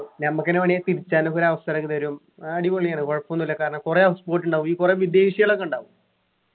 ഞമ്മക്കെന്നെ വേണേൽ തിരിച്ചാനൊക്കെ ഒരു അവസരം ഒക്കെ തരും ആ അടിപൊളിയാണ് കുഴപ്പൊന്നും ഇല്ല കാരണം കൊറേ house boat ഉണ്ടാവും ഈ കൊറേ വിദേശികളൊക്കെ ഉണ്ടാവും